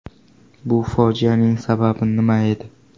Bu fojianing sababi nima edi?